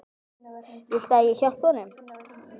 Viltu að ég hjálpi honum?